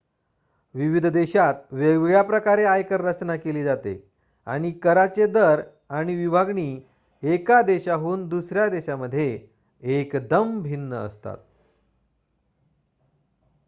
विविध देशात वेगवेगळ्या प्रकारे आयकर रचना केली जाते आणि कराचे दर आणि विभागणी एका देशाहून दुसऱ्या देशामध्ये एकदम भिन्न असतात